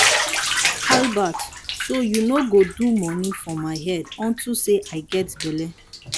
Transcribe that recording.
albert so you no go do money for my head unto say i get bele.